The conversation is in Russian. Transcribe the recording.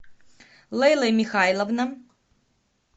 лейла михайловна